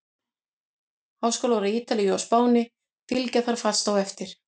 Háskólar á Ítalíu og Spáni fylgja þar fast á eftir.